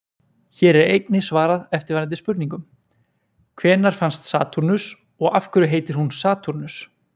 Hér er einnig svarað eftirfarandi spurningum: Hvenær fannst Satúrnus og af hverju heitir hún Satúrnus?